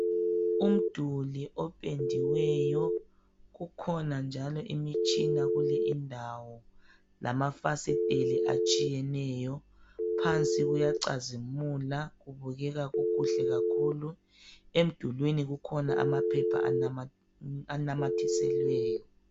Umduli opendiweyo kukhona njalo imitshina kule indawo lamafasitheli etshiyeneyo phansi kuyacazimula kubukeka kukuhle kakhulu, emdulini kukhona amaphepha anamathiselweyo.